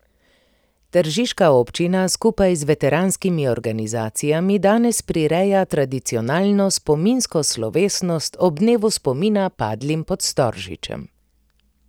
Tržiška občina skupaj z veteranskimi organizacijami danes prireja tradicionalno spominsko slovesnost ob Dnevu spomina padlim pod Storžičem.